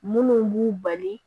Munnu b'u bali